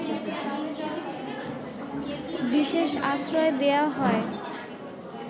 বিশেষ আশ্রয় দেওয়া হয়